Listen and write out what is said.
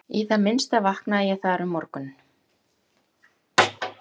Í það minnsta vaknaði ég þar um morguninn.